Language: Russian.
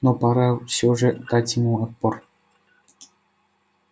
но пора всё же дать ему отпор